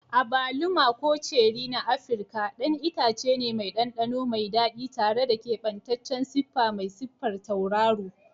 Agwaluma, ko ceri na Afirka, ɗan itace ne mai ɗanɗano mai daɗi tare da keɓantaccen siffa mai siffar tauraro.